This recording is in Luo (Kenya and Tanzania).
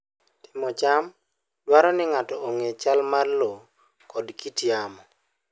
Timo cham dwaro ni ng'ato ong'e chal mar lowo koda kit yamo.